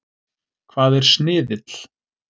Hvað er sniðill?